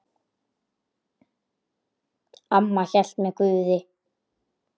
Amma hélt með Guði.